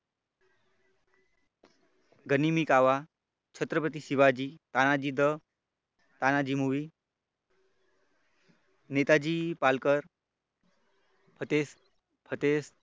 गनिमी कावा Chhatrapati Shivaji Tanaji the Tanaji movie Netaji Palkar फतेज फतेज